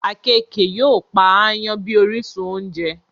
Àkekèé yóò Pa àyàn bí orísun ounjẹ